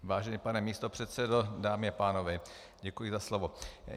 Vážený pane místopředsedo, dámy a pánové, děkuji za slovo.